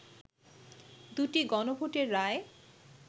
দু’টি গণভোটের রায়